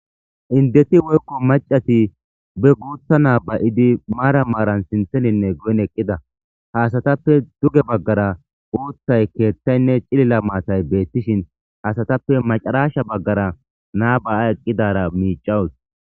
Indeti woykko macati be guutha naabay7idi maara maaran sintheninne goyin eqqida haasatappe duge baggara uuthay keeththaynne cilila maatay beettishin hasatappe macaraashsha baggara naaba7a eqqidara miicawus.